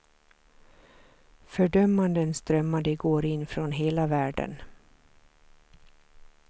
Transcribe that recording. Fördömanden strömmade igår in från hela världen.